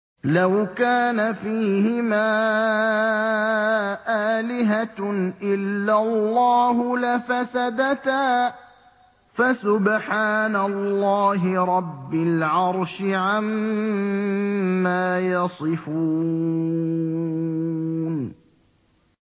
لَوْ كَانَ فِيهِمَا آلِهَةٌ إِلَّا اللَّهُ لَفَسَدَتَا ۚ فَسُبْحَانَ اللَّهِ رَبِّ الْعَرْشِ عَمَّا يَصِفُونَ